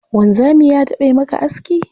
Wanzami ya taɓa yi maka aski?